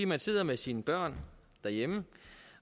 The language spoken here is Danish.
man sidder med sine børn derhjemme